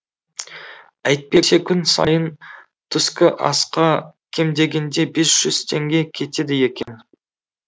әйтпесе күн сайын түскі асқа кем дегенде бес жүз теңге кетеді екен